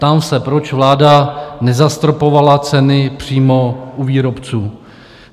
Ptám se, proč vláda nezastropovala ceny přímo u výrobců?